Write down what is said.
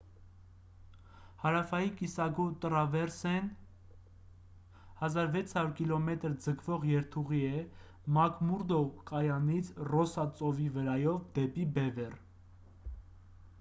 հարավային կիսագունդ տռավեռսեն կամ ավտոմայրուղին 1600 կմ ձգվող երթուղի է՝ մակմուրդո կայանից ռոսսա ծովի վրայով դեպի բևեռ։